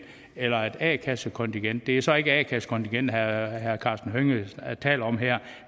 eller et a kassekontingent det er så ikke a kassekontingentet herre karsten hønge taler om her